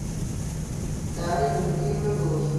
дарья дмитриевна блохина